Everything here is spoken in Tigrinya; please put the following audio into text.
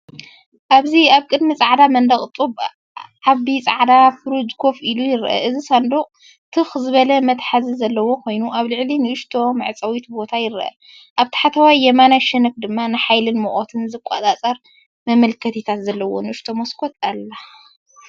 ኣብዚ ኣብ ቅድሚ ጻዕዳ መንደቕ ጡብ፡ዓቢ ጻዕዳ ናይ ፍሪጅ ኮፍ ኢሉ ይርአ። እቲ ሳንዱቕ ትኽ ዝበለ መትሓዚን ዘለዎ ኮይኑ፡ኣብ ላዕሊ ንእሽቶ መዕጸዊ ቦታ ይርአ። ኣብ ታሕተዋይ የማናይ ሸነኽ ድማ ንሓይልን ሙቐትን ዝቆጻጸር መመልከቲታት ዘለዋ ንእሽቶ መስኮት ኣላ።